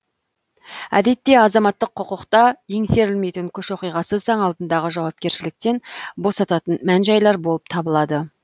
әдетте азаматтық құқықта еңсерілмейтін күш оқиғасы заң алдындағы жауапкершіліктен босататын мән жайлар болып табылады